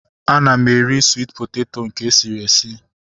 Ana m eri swit poteto nke esiri esi